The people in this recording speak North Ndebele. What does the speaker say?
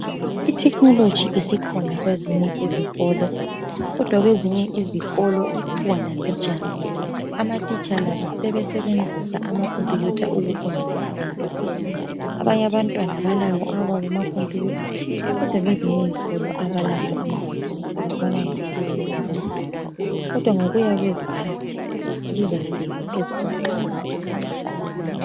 Itechnology isikhona kwezinye izikolo, kodwa kwezinye izikolo ikhona mbijana, ngoba amatitshala sebesebenzisa amacomputer, ukufundisa abantwana. Abanye abantwana balawo awabo amacomputer, kodwa kwezinye izikolo kabalawo. Babona yonaleyo eyombalisi, kodwa ngokuya kwezikhathi zizafika ezikolo zonke.